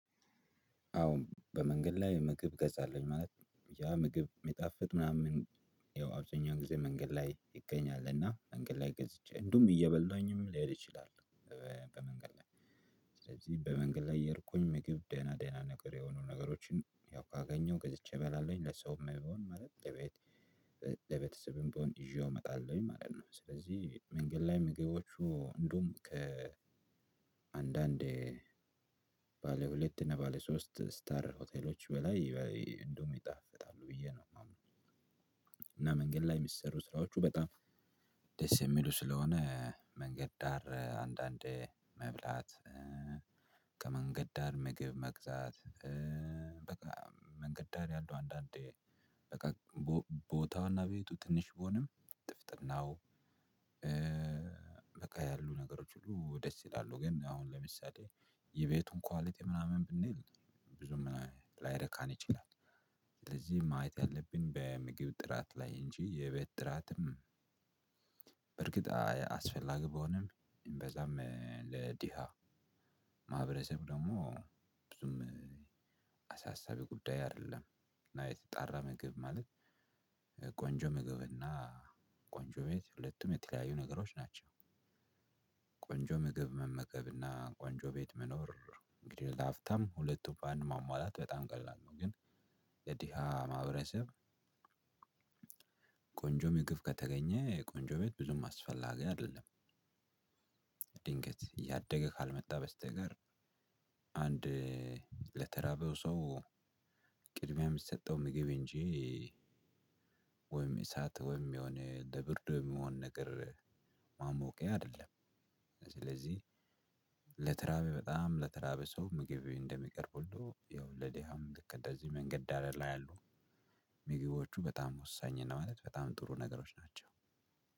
አዎ በመንገድ ላይ ምግብ እገዛለሁኝ ማለት ነው ያ ምግብ ሚጣፍጥ ምናምን ያው አብዛኛው ጊዜ መንገድ ላይ ይገኛል እና መንገድ ላይ ገዝቼ እንደውም እየበላኝም ልሄድ እችላለሁ። በመንገድ ላይ ስለዚህ በመንገድ ላይ እየሄድኩኝ ምግብ ደህና ደህና ነገር የሆኑ ነገሮችን ያው ካገኘሁ ገዝቼ እበላለሁኝ ለሰውም ቢሆን ማለት ለቤት ለቤተሰብም ቢሆን ይዤው እመጣለሁኝ ማለት ነው። ስለዚህ መንገድ ላይ ምግቦቹ እንደውም ከአንዳንዴ ባለ ሁለት እና ባለ ሶስት ስታር ሆቴሎች በላይ እንደውም ይጣፍጣሉ ብዬ ነው የማምነው። እና መንገድ ላይ የሚሰሩ ስራዎቹ በጣም ደስ የሚሉ ስለሆነ መንገድ ዳር አንዳንዴ መብላት። ከመንገድ ዳር ምግብ መግዛት። በቃ መንገድ ዳር ያሉ አንዳንድ ደቃቅ ቦታው እና ቤቱ ትንሽ ቢሆንም ጥፍጥናው በቃ ያሉ ነገሮች ሁሉ ደስ ይላሉ። ግን አሁን ለምሳሌ የቤቱን ኳሊቲ ምናምን ብንል ብዙም ላያረካን ይችላል። ስለዚህ ማየት ያለብን በምግብ ጥራት ላይ እንጂ የቤት ጥራትም። በርግጥ አስፈላጊ ቢሆንም እምብዛም ለድሃ ማህበረሰብ ደግሞ ብዙም አሳሳቢ ጉዳይ አይደለም። እና የተጣራ ምግብ ማለት ቆንጆ ምግብ እና ቆንጆ ቤት ሁለቱም የተለያዩ ነገሮች ናቸው። ቆንጆ ምግብ መመገብ እና ቆንጆ ቤት መኖር እንግዲህ ለሀብታም ሁለቱ በአንድ ማሟላት በጣም ቀላል ነው። ግን የድሃ ማህበረሰብ ቆንጆ ምግብ ከተገኘ ቆንጆ ቤት ብዙም አስፈላጊ አይደለም። ድንገት እያደገ ካልመጣ በስተቀር አንድ ለተራበው ሰው ቅድሚያ የምትሰጠው ምግብ እንጂ ወይም እሳት ወይም የሆነ ለብርድ የሚሆን ነገር ማሞቂያ አይደለም። ስለዚህ ለተራበ በጣም ለተራበ ሰው ምግብ እንደሚቀርብ ሁሉ ያው ለድሃም ልክ እንደዚህ መንገድ ዳር ላይ ያሉ ምግቦቹ በጣም ወሳኝ ነው ማለት በጣም ጥሩ ነገሮች ናቸው።